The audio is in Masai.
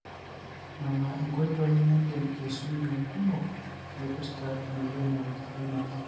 nona inkoitoi nidim aisumie nkumok naipirta emoyian e Alzheimers.